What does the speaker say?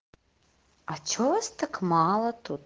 а что вас так мало тут